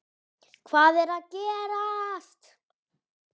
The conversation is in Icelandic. HVAÐ ER AÐ GERAST??